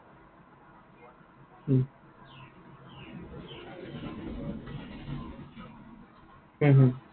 হম হম